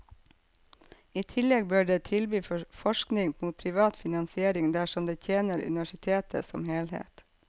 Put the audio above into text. I tillegg bør det tilby forskning mot privat finansiering dersom det tjener universitetet som helhet.